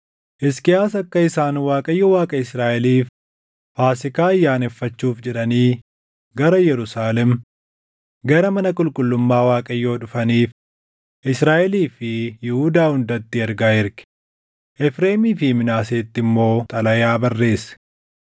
Hisqiyaas akka isaan Waaqayyo Waaqa Israaʼeliif Faasiikaa ayyaaneffachuuf jedhanii gara Yerusaalem, gara mana qulqullummaa Waaqayyoo dhufaniif Israaʼelii fi Yihuudaa hundatti ergaa erge; Efreemii fi Minaaseetti immoo xalayaa barreesse.